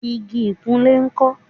igi ìkunlé ńkọ́?